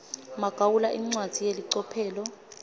magawula incwadzi yelicophelo